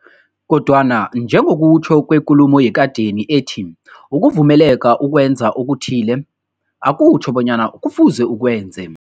Kodwana njengokutjho kwekulumo yekadeni ethi, ukuvumeleka ukwenza okuthile, akutjho bonyana kufuze ukwenze.